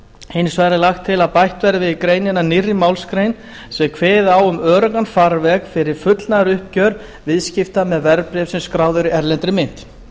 hins vegar er lagt til að bætt verði við greinina nýrri málsgrein sem kveði á um öruggan farveg fyrir fullnaðaruppgjör viðskipta með verðbréf sem skráð eru í erlendri mynt